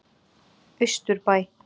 Austurbæ